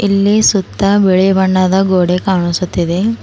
ಇಲ್ಲಿ ಸುತ್ತ ಬಿಳಿ ಬಣ್ಣದ ಗೋಡೆ ಕಾಣಿಸುತ್ತಿದೆ.